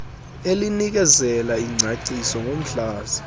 elinikezela ingcaciso ngomhlaza